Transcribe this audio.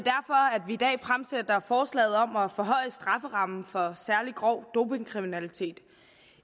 er forslaget om at forhøje strafferammen for særlig grov dopingkriminalitet